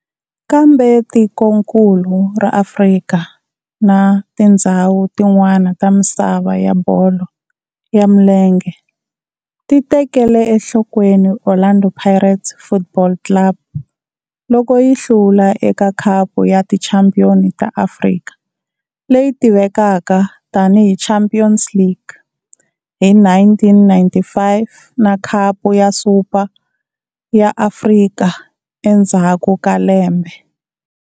Kambe tikonkulu ra Afrika na tindzhawu tin'wana ta misava ya bolo ya milenge ti tekele enhlokweni Orlando Pirates Football Club loko yi hlula eka Khapu ya Tichampion ta Afrika leyi tivekaka tani hi Champions League, hi 1995 na Khapu ya Super ya Afrika endzhaku ka lembe.